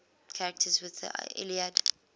characters in the iliad